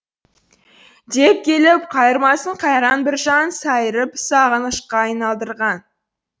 деп келіп қайырмасын қайран біржан сайырып сағынышқа айналдырған